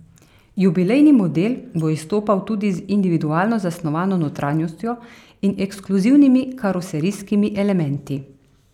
Jubilejni model bo izstopal tudi z individualno zasnovano notranjostjo in ekskluzivnimi karoserijskimi elementi.